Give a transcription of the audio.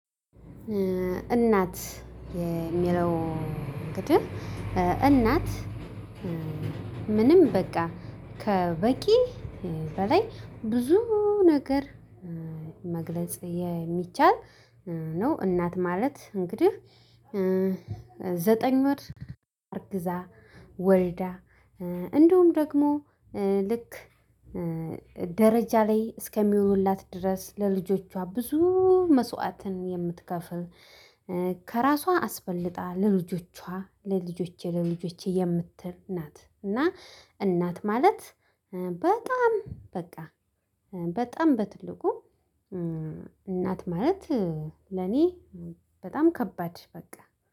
እናት የሚለው እንግዲህ እናት ምንም በቃ ከበቂ በላይ ብዙ ነገር መግለጽ የሚቻል ነው። እናት ማለት እንግዲህ ዘጠኝ ወር አርግዛ፣ ወልዳ እንዲሁም ደግሞ ልክ ደረጃ ላይ እስከሚውሉላት ድረስ ለልጆቿ ብዙ መስዋዕትን የምትከፍል፤ ከራሷ አስበልጣ ለልጆቿ ለልጆቼ ለልጆቼ የምትል ናት እና እናት ማለት በጣም በቃ በጣም በትልቁ እናት ማለት ለኔ በጣም ከባድ በቃ